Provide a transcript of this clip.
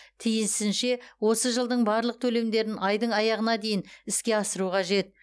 тиісінше осы жылдың барлық төлемдерін айдың аяғына дейін іске асыру қажет